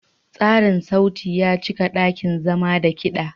Tsarin sauti ya cika ɗakin zama da kiɗa.